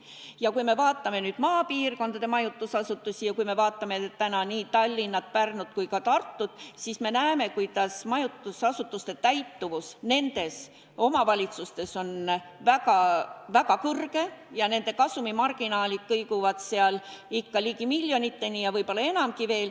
Ja kui me vaatame nüüd maapiirkondade majutusasutusi ning vaatame näiteks Tallinnat, Pärnut ja Tartut, siis me näeme, kuidas majutusasutuste täituvus nendes omavalitsustes on väga suur ja nende kasumimarginaalid kõiguvad seal ikka ligi miljoniteni ja võib-olla enamgi veel.